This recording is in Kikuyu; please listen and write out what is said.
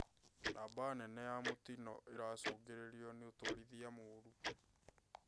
Namba nene ya mĩtino ĩracũngĩrĩrio nĩ ũtwarithia mũru